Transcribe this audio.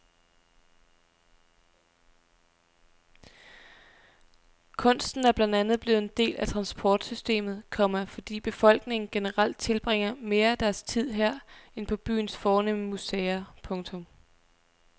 Kunsten er blandt andet blevet en del af transportsystemet, komma fordi befolkningen generelt tilbringer mere af deres tid her end på byens fornemme museer. punktum